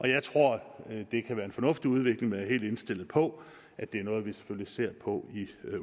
jeg tror det kan være en fornuftig udvikling men helt indstillet på at det er noget vi selvfølgelig skal se på i